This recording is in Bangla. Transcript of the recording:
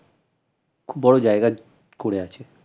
খুব বড় জায়গা করে আছে